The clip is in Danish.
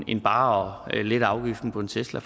end bare ved at lette afgiften på en tesla